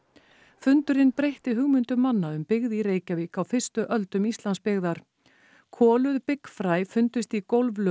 fundurinn breytti hugmyndum manna um byggð í Reykjavík á fyrstu öldum Íslandsbyggðar koluð byggfræ fundust í